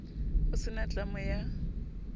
ho se na tlamo ya